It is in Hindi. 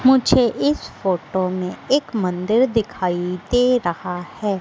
मुझे इस फोटो में एक मंदिर दिखाई दे रहा है।